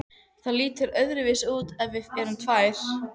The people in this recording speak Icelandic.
Það lítur öðruvísi út ef við erum tvær.